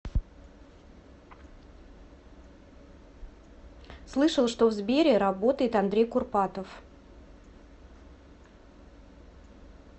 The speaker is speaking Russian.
слышал что в сбере работает андрей курпатов